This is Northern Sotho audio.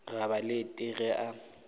ga ba lete ge a